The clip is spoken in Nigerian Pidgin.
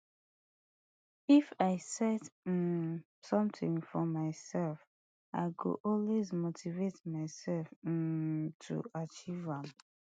if i set um somtin for mysef i go always motivate myself um to achieve am